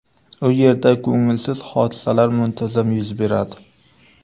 U yerda ko‘ngilsiz hodisalar muntazam yuz beradi.